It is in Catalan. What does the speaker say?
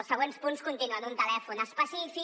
els següents punts continuen un telèfon específic